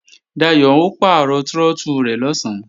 Dayò ó pàrọ̀ trọ́tù rẹ̀ lọ̀sán